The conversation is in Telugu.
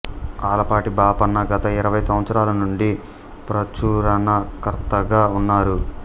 ఆలపాటి బాపన్న గత ఇరవై సంవత్సరాల నుండి ప్రచురణకర్తగా ఉన్నారు